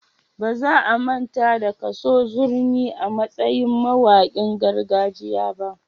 Ba za a manta da Kaso Zurmi a matsayin mawaƙin gargajiya ba.